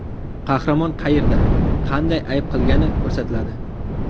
Qahramon qayerda, qanday ayb qilgani ko‘rsatiladi.